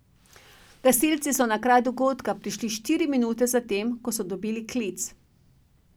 Gasilci so na kraj dogodka prišli štiri minute zatem, ko so dobili klic.